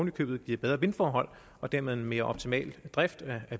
i købet giver bedre vindforhold og dermed en mere optimal drift af